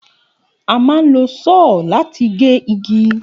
A máa ń lo só̩ò̩ láti gé igi